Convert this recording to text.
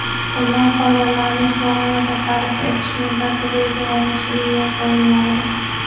undan foydalanish va uni tasarruf etish muddati belgilanishiga yo‘l qo‘yilmaydi.